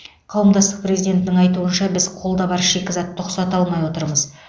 қауымдастық президентінің айтуынша біз қолда бар шикізатты ұқсата алмай отырмыз